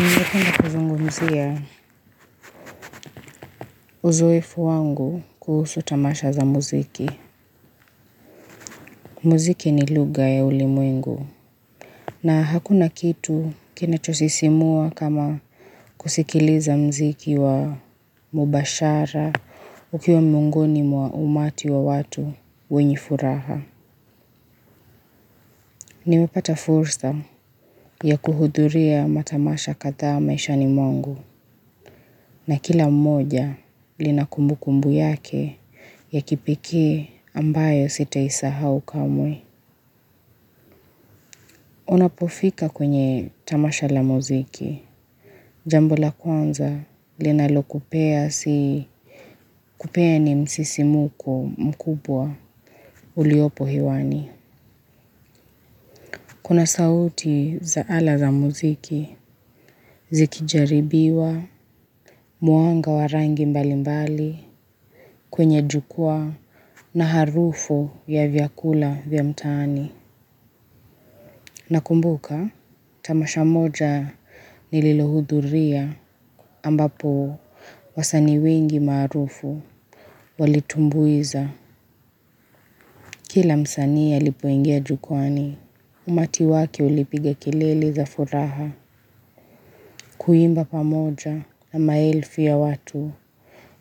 Ninge penda kuzungumzia uzoefu wangu kuhusu tamasha za muziki. Muziki ni lugha ya ulimwengu. Na hakuna kitu kinachosisimua kama kusikiliza mziki wa mubashara ukiwa mungoni wa umati wa watu wenye furaha. Nimepata fursa ya kuhudhuria matamasha kathaa maishani mwangu. Na kila mmoja lina kumbu kumbu yake ya kipekee ambayo sita isahau kamwe. Unapofika kwenye tamasha la muziki. Jambo la kwanza linalo kupea si kupea ni msisimuko mkubwa uliopo hewani. Kuna sauti za ala za muziki zikijaribiwa muanga warangi mbali mbali. Kwenye jukwaa na harufu ya vyakula vya mtaani nakumbuka tamasha moja nililohudhuria ambapo wasanii wengi maarufu walitumbuiza. Kila msanii alipoingia jukwani umati wake ulipiga kelele za furaha kuimba pamoja na maelfu ya watu.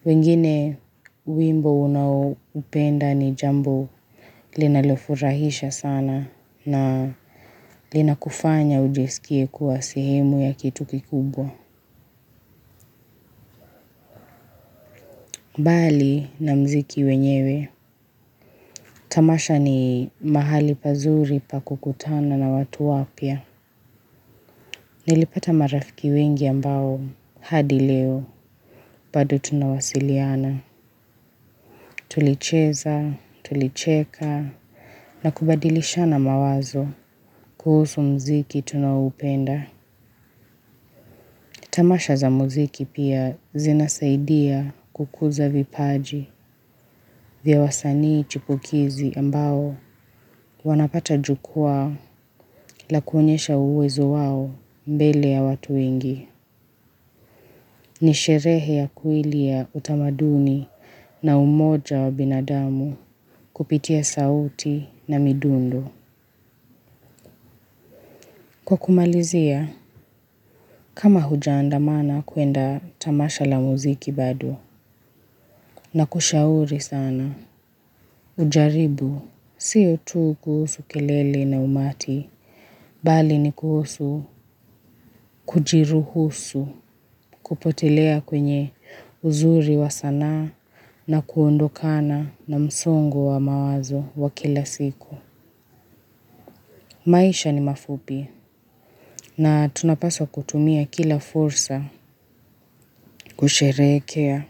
Wengine wimbo unaoupenda ni jambo linalofurahisha sana na lina kufanya ujiskie kuwasehemu ya kitu kikubwa. Mbali na mziki wenyewe. Tamasha ni mahali pazuri pakukutana na watu wapya. Nilipata marafiki wengi ambao hadi leo bado tunawasiliana. Tulicheza, tulicheka na kubadilishana mawazo. Kuhusu mziki tunaoupenda tamasha za muziki pia zina saidia kukuza vipaji vya wasani chipukizi ambao wanapata jukwaa lakuonyesha uwezo wao mbele ya watu wengi. Nisherehe ya kweli ya utamaduni na umoja wa binadamu kupitia sauti na midundo kwakumalizia kama hujaandamana kuenda tamasha la muziki bado na kushauri sana. Ujaribu. Sio tu kuhusu kelele na umati. Bali ni kuhusu, kujiruhusu, kupotelea kwenye uzuri wa sanaa na kuondokana na msongo wa mawazo wa kila siku. Maisha ni mafupi. Na tunapaswa kutumia kila fursa kusherehekea.